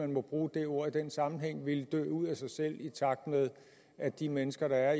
må bruge det ord i den sammenhæng vil dø ud af sig selv i takt med at de mennesker der